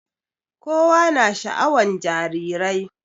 kowa na sha'awan jarirai